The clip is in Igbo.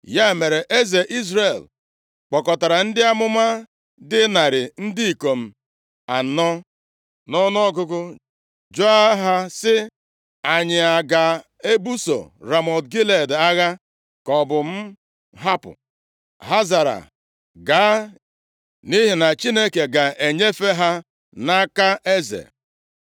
Ya mere, eze Izrel kpọkọtara ndị amụma dị narị ndị ikom anọ nʼọnụọgụgụ jụọ ha, sị, “Anyị a ga-ebuso Ramọt Gilead agha, ka ọ bụ m hapụ?” Ha zara, “Gaa, nʼihi na Chineke ga-enyefe ha nʼaka eze.”